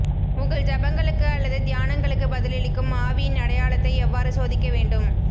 உங்கள் ஜெபங்களுக்கு அல்லது தியானங்களுக்கு பதிலளிக்கும் ஆவியின் அடையாளத்தை எவ்வாறு சோதிக்க வேண்டும்